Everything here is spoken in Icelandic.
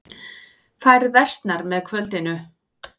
Færð versnar með kvöldinu